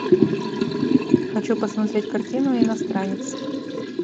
хочу посмотреть картину иностранец